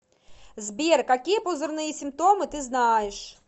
сбер какие пузырные симптомы ты знаешь